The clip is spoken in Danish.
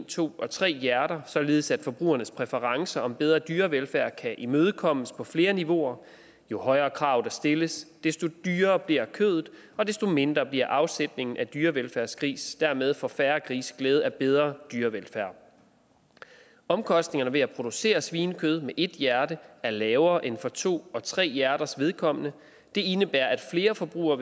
to og tre hjerter således at forbrugernes præference om bedre dyrevelfærd kan imødekommes på flere niveauer jo højere krav der stilles desto dyrere bliver kødet og desto mindre bliver afsætningen af dyrevelfærdsgrise dermed får færre grise glæde af bedre dyrevelfærd omkostningerne ved at producere svinekød med ét hjerte er lavere end for to og tre hjerters vedkommende det indebærer at flere forbrugere